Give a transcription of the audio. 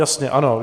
Jasně, ano.